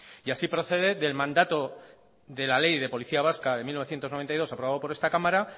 y así procede del mandato de la ley de policía vasca de mil novecientos noventa y dos aprobado por esta cámara